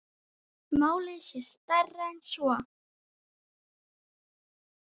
Málið sé stærra en svo.